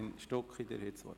– Das ist der Fall.